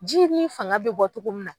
Ji ni fanga bɛ bɔ cogo min na.